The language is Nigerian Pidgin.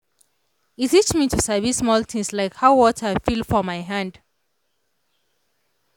e teach me to sabi small things like how water feel for my hand.